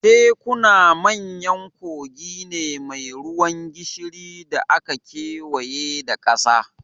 Tekuna manyan kogi ne mai ruwan gishiri da aka kewaye da ƙasa